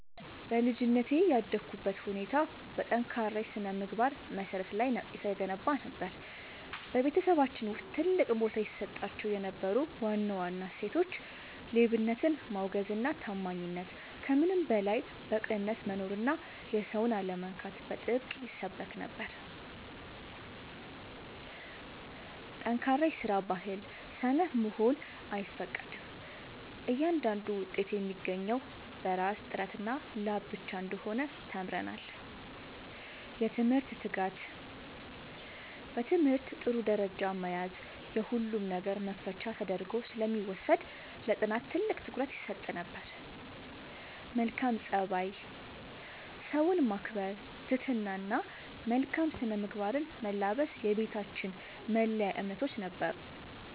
በልጅነቴ ያደግኩበት ሁኔታ በጠንካራ የሥነ-ምግባር መሠረት ላይ የተገነባ ነበር። በቤተሰባችን ውስጥ ትልቅ ቦታ ይሰጣቸው የነበሩ ዋና ዋና እሴቶች፦ ሌብነትን ማውገዝና ታማኝነት፦ ከምንም በላይ በቅንነት መኖርና የሰውን አለመንካት በጥብቅ ይሰበክ ነበር። ጠንካራ የስራ ባህል፦ ሰነፍ መሆን አይፈቀድም፤ እያንዳንዱ ውጤት የሚገኘው በራስ ጥረትና ላብ ብቻ እንደሆነ ተምረናል። የትምህርት ትጋት፦ በትምህርት ጥሩ ደረጃ መያዝ የሁሉም ነገር መክፈቻ ተደርጎ ስለሚወሰድ ለጥናት ትልቅ ትኩረት ይሰጥ ነበር። መልካም ፀባይ፦ ሰውን ማክበር፣ ትህትና እና መልካም ስነ-ምግባርን መላበስ የቤታችን መለያ እምነቶች ነበሩ።